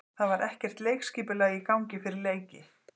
Það var ekkert leikskipulag í gangi fyrir leiki.